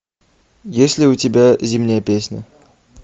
есть ли у тебя зимняя песня